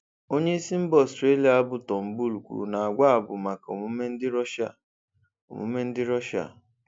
Onyeisi mba Ọstrelia bụ Turnbull kwuru na agwa a bụ maka omume ndị Rọshịa. omume ndị Rọshịa.